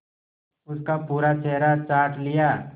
उसका पूरा चेहरा चाट लिया